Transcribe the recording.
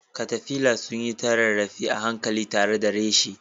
Caterpillars sun yi ta rarrafe a hankali tare da reshe